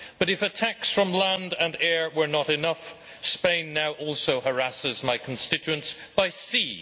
But if a tax from land and air were not enough, Spain now also harasses my constituency by sea.